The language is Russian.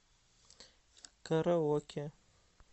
караоке